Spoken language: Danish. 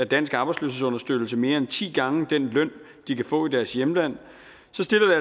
dansk arbejdsløshedsunderstøttelse mere end ti gange den løn de kan få i deres hjemland